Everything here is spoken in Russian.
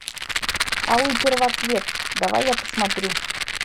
алый первоцвет давай я посмотрю